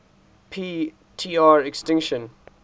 p tr extinction